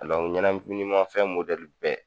ɲɛnaminimanfɛn bɛɛ